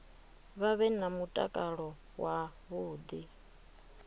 vha vhe na mutakalo wavhuḓi